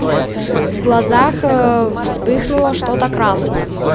в глазах э вспыхнуло что-то красное